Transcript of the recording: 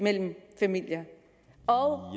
familierne og